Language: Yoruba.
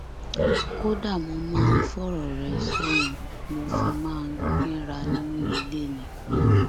kódà mo máa ń fọrọ rẹ sóun mo fi máa ń kínra nínú ilé ni